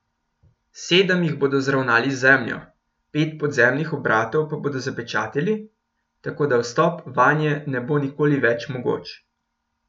Sedem jih bodo zravnali z zemljo, pet podzemnih obratov pa bodo zapečatili, tako da vstop vanje ne bo nikoli več mogoč.